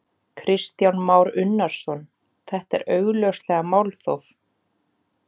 Kristján Már Unnarsson: Þetta er augljóslega málþóf?